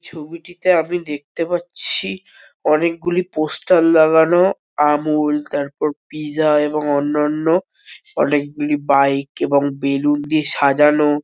ছবিটিতে আমি দেখতে পাচ্ছি অনেকগুলি পোস্টার লাগানো আমূল তারপর পিজা এবং অন্যঅন্য অনেকগুলি বাইক এবং বেলুন দিয়ে সাজানো।